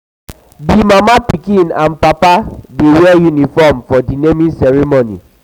di pikin mama and papa dey wear uniform for di for di naming ceremony.